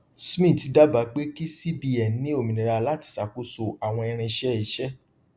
smith dábàá pé kí cbn ní òmìnira láti ṣàkóso àwọn irinṣẹ iṣẹ